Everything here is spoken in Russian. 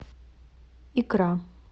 икра